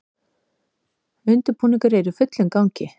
Undirbúningur er í fullum gangi